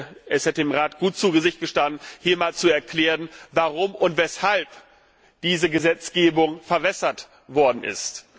Ich finde, es hätte dem Rat gut zu Gesicht gestanden, hier mal zu erklären, warum diese Gesetzgebung verwässert worden ist.